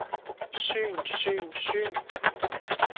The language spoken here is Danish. syn syn syn